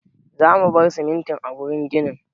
Za mu bar simintin a gurin ginnin